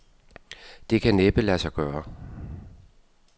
Det kan næppe lade sig gøre.